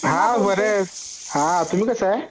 हा बर आहे हा तुम्ही कश्या आहात